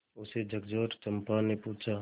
उसे झकझोरकर चंपा ने पूछा